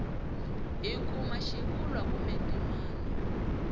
hi kuma xivulwa kumbe ndzimana